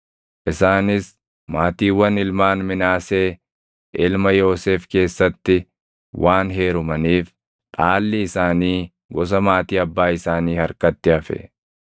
Isaanis maatiiwwan ilmaan Minaasee ilma Yoosef keessatti waan heerumaniif dhaalli isaanii gosa maatii abbaa isaanii harkatti hafe.